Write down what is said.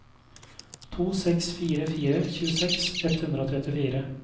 to seks fire fire tjueseks ett hundre og trettifire